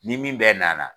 Ni min bɛ nana